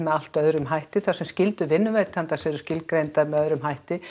allt öðrum hætti þar sem skyldur vinnuveitandans eru skilgreindar með öðrum hætti